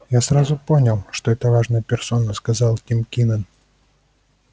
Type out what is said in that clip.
я сразу понял что это важная персона сказал тим кинен